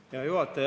Hea juhataja!